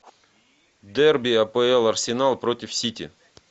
дерби апл арсенал против сити